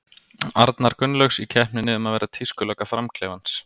Arnar Gunnlaugs, í keppninni um að vera tískulögga Fram-klefans.